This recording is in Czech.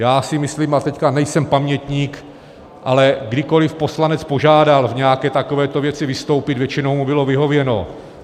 Já si myslím, a teď nejsem pamětník, ale kdykoli poslanec požádal v nějaké takovéto věci vystoupit, většinou mu bylo vyhověno.